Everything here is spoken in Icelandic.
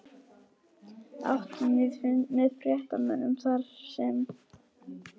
Áttum við fund með fréttamönnum þarsem